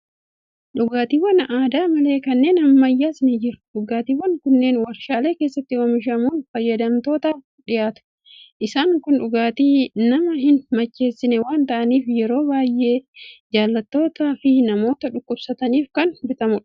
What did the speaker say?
Dhugaatiiwwan aadaa malee kanneen ammayyaas ni jiru. Dhugaatiiwwan kunneen waarshaalee keessatti oomishamuun fayyadamtootaaf dhiyaatu. Isaan kun dhugaatii nama hin macheessine waan ta'aniif, yeroo baay'ee ijoollotaa fi namoota dhukkubsataniif kan bitamudha.